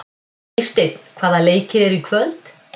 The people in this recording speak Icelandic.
Eysteinn, hvaða leikir eru í kvöld?